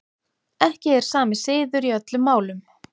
Ekki er sami siður í öllum málum.